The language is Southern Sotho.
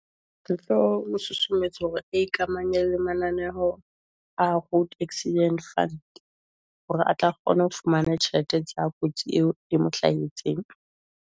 Susumetse hore e ikamahanye le mananeho a road accident fund, hore a tla kgona ho fumana tjhelete tsa kotsi eo e mo hlahetseng.